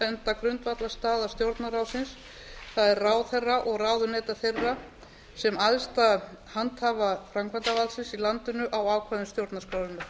benda grundvallarstaða stjórnarráðsins það er ráðherra og ráðuneyta þeirra sem æðsta handhafa framkvæmdarvaldsins í landinu á ákvæðum stjórnarskrárinnar